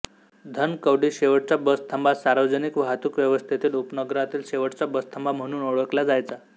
धनकवडी शेवटचा बसथांबा सार्वजनिक वाहतूक व्यवस्थेतील उपनगरातील शेवटचा बसथांबा म्हणून ओळखला जायचा